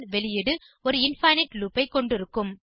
வெளியீடு ஒரு infinite loop ஆகும்